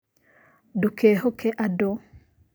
Ndũkehoke andũ